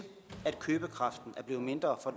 at købekraften er blevet mindre for